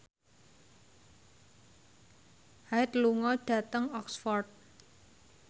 Hyde lunga dhateng Oxford